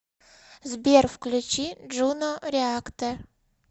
сбер включи джуно реактор